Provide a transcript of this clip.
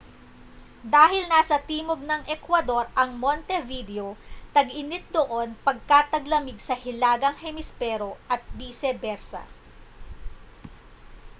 dahil nasa timog ng ekwador ang montevideo tag-init doon pagka taglamig sa hilagang hemispero at bise bersa